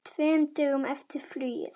Tveimur dögum eftir flugið.